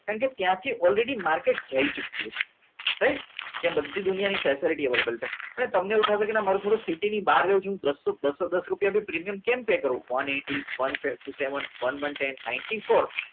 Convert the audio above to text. કારણ કે ત્યાંથી already માર્કેટિંગ જઈ ચૂક્યું છે હવે જ્યાં બધી દુનિયાની facility અવેલેબલ છે અને તમને એવું થશે કે ના મારે થોડું સીટીની બહાર જવું છે બસોદસ પ્રિમિયમ કેમ્પે કરવાની